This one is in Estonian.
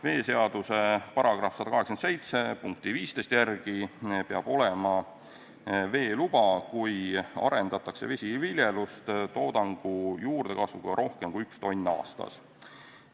Veeseaduse § 187 punkti 15 järgi peab olema veeluba, kui arendatakse vesiviljelust toodangu juurdekasvuga rohkem kui 1 tonn aastas.